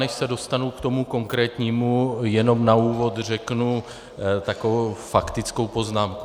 Než se dostanu k tomu konkrétnímu, jenom na úvod řeknu takovou faktickou poznámku.